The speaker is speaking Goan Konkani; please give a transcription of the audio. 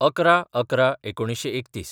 ११/११/३१